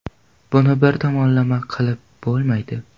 Buni bir tomonlama qilib bo‘lmaydi.